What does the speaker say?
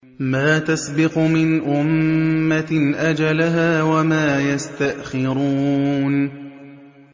مَا تَسْبِقُ مِنْ أُمَّةٍ أَجَلَهَا وَمَا يَسْتَأْخِرُونَ